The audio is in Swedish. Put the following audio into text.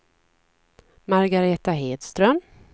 Margaretha Hedström